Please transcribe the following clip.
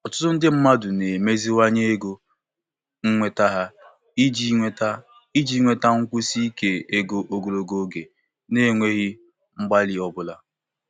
Ọtụtụ ndị mmadụ otu n'otu na-aga nke ọma ịnyagharị mmefu ego site na-ebute mkpa karịa ọchụchọ ụzọ kwa ọnwa.